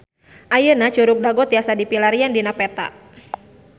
Ayeuna Curug Dago tiasa dipilarian dina peta